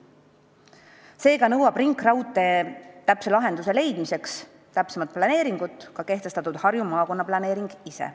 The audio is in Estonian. Seega nõuab ringraudtee lõplikuks lahenduseks täpsemat planeeringut ka Harju maakonna planeering ise.